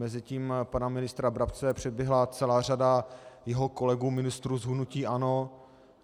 Mezitím pana ministra Brabce předběhla celá řada jeho kolegů ministrů z hnutí ANO.